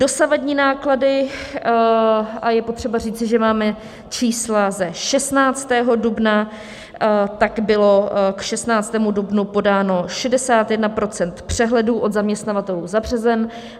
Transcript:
Dosavadní náklady - a je potřeba říci, že máme čísla ze 16. dubna - tak bylo k 16. dubnu podáno 61 % přehledů od zaměstnavatelů za březen.